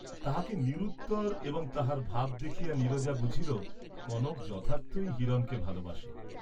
তাহাকে নিরুত্তর এবং তাহার ভাব দেখিয়া নীরজা বুঝিল কনক যথার্থ ই হিরণকে ভালবাসে।